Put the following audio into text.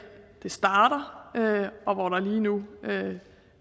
det starter og hvor der lige nu